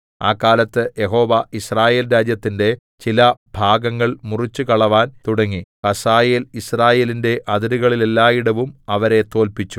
ആ കാലത്ത് യഹോവ യിസ്രായേൽ രാജ്യത്തിന്റെ ചില ഭാഗങ്ങൾ മുറിച്ചുകളവാൻ തുടങ്ങി ഹസായേൽ യിസ്രായേലിന്റെ അതിരുകളില്ലായിടവും അവരെ തോല്പിച്ചു